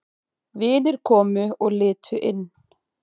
Vinir komu og litu inn.